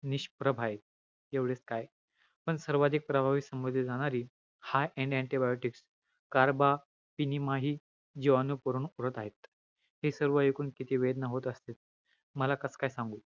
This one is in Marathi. निष्प्रभ आहे. एवढेच काय, पण सर्वाधिक प्रभावी समजली जाणारी, high end antibiotics, carbaphinima हि जिवाणू उरून पुरत आहे. हे सर्व इकून किती वेदना होत असतील मला, कस काय सांगू.